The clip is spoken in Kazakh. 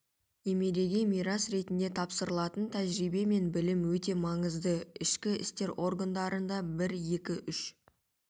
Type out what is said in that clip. немереге мирас ретінде тапсырылатын тәжірибе мен білім өте маңызды ішкі істер органдарында бір екі үш